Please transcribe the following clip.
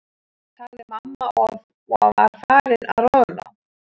sagði mamma og var farin að roðna.